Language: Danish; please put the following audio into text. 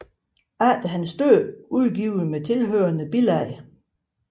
Efter hans Død udgivet med tilhørende Bilag